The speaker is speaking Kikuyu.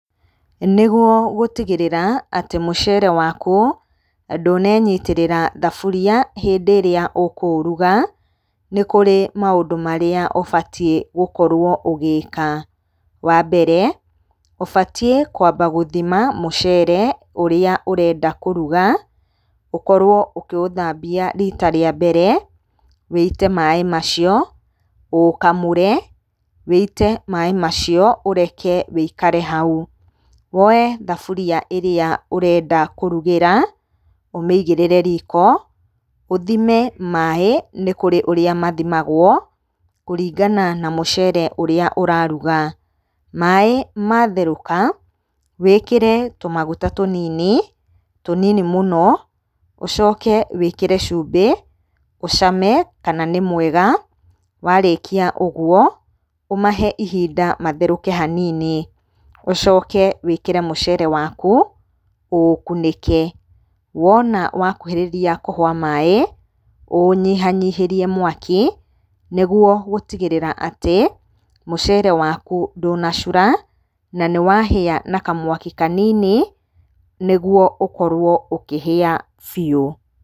Nĩguo gũtigĩrĩra atĩ mũcere waku ndũnenyitĩrĩra thaburia hĩndĩ ĩrĩa ũkũũruga, nĩ kũrĩ maũndũ marĩa ũbatiĩ gũkorwo ũgĩka. Wa mbere, ũbatiĩ kwamba gũthima mũcere ũrĩa ũrenda kũruga, ũkorwo ũkĩũthambia rita rĩa mbere, ũite maĩ macio, ũũkamũre, ũite maĩ macio ũreke ũikare hau. Woe thaburia ĩrĩa ũrenda kũrugĩra, ũmĩigĩrĩre riko, ũthime maĩ, nĩ kũrĩ ũrĩa mathimagwo kũringana na mũcere ũrĩa ũraruga. Maĩ matherũka, wĩkĩre tũmaguta tũnini, tũnini mũno, ũcoke wĩkĩre cumbĩ, ũcame kana nĩ mwega, warĩkia ũguo ũmahe ihinda matherũke hanini, ũcoke wĩkĩre mũcere waku ũũkunĩke. Wona wakuhĩrĩria kũhũa maĩ, ũũnyihanyihĩrie mwaki, nĩguo gũtigĩrĩra atĩ mũcere waku ndũnacura na nĩ wahĩa na kamwaki kanini, nĩguo ũkorwo ũkĩhĩa biũ.